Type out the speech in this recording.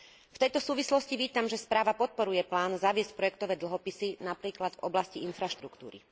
V tejto súvislosti vítam, že správa podporuje plán zaviesť projektové dlhopisy, napríklad v oblasti infraštruktúry.